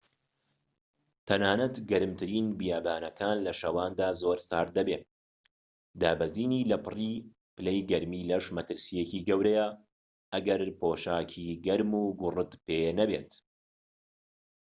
تەنانەت گەرمترین بیابانەکان لە شەواندا زۆر سارد دەبێت دابەزینی لەپڕی پلەی گەرمی لەش مەترسیەکی گەورەیە ئەگەر پۆشاکی گەرموگوڕت پێنەبێت